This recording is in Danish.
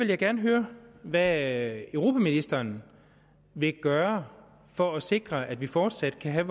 jeg gerne høre hvad europaministeren vil gøre for at sikre at vi fortsat kan have